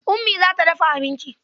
Ummi za ta dafa abinci.